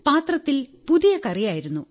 പാത്രത്തിൽ പുതിയ കറിയായിരുന്നു